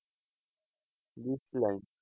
দেশলাই,